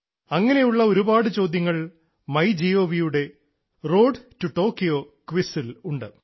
അങ്ങനെയുള്ള ഒരുപാടു ചോദ്യങ്ങൾ മൈ ഗവ്ന്റെ റോഡ് ടു ടോക്കിയോ ക്വിസിൽ ഉണ്ട്